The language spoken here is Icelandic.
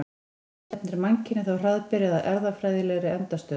Stefnir mannkynið þá hraðbyri að erfðafræðilegri endastöð?